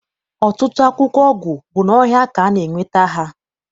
Ọtụtụ akwụkwọ ọgwụ bụ n'ọhịa ka a na- enweta ha.